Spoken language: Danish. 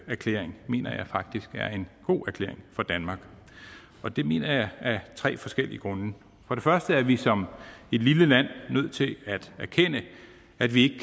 erklæring mener jeg faktisk er en god erklæring for danmark det mener jeg af tre forskellige grunde for det første er vi som et lille land nødt til at erkende at vi